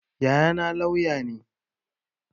Yayana lauya ne